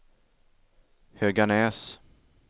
Höganäs